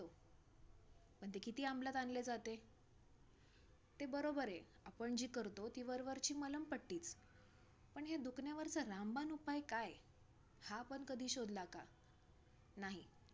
पण ते किती अंमलात आणले जाते? ते बरोबर आहे, आपण जी करतो ती वरवरची मलमपट्टीचं. पण, ह्या दुखण्यावरचा रामबाण उपाय काय? हा आपण कधी शोधला का? नाही,